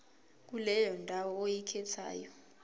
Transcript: kuleyo ndawo oyikhethayo